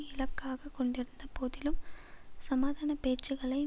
இலக்காக கொண்டிருந்த போதிலும் சமாதான பேச்சுக்களை